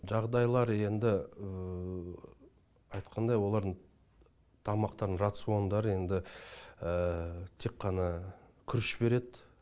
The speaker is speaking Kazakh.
жағдайлары енді айтқандай олардың тамақтарының рациондары енді тек қана күріш береді